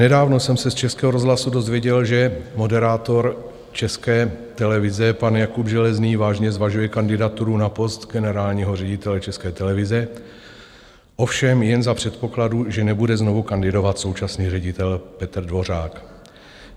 Nedávno jsem se z Českého rozhlasu dozvěděl, že moderátor České televize pan Jakub Železný vážně zvažuje kandidaturu na post generálního ředitele České televize, ovšem jen za předpokladu, že nebude znovu kandidovat současný ředitel Petr Dvořák.